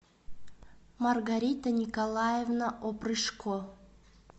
маргарита николаевна опрышко